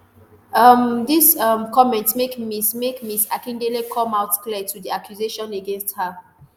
um dis um comment make ms make ms akindele come out to clear di accusations against her